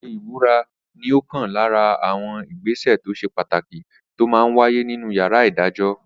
Ṣíṣe ìbúra ní ọ̀kan lára àwọn ìgbésẹ̀ tó ṣe pàtàkì tó máa n wáyé nínu yàrá ìdájọ́